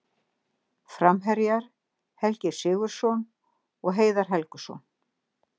Framherjar: Helgi Sigurðsson og Heiðar Helguson.